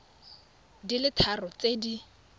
di le tharo tse di